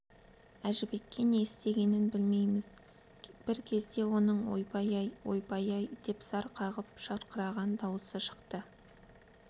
әжібекке не істегенін білмейміз бір кезде оның ойбай-ай ойбай-ай деп зар қағып шырқыраған даусы шықты